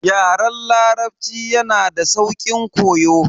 Yaren larabci yanada sauƙin koyo.